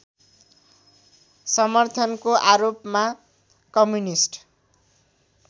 समर्थनको आरोपमा कम्युनिस्ट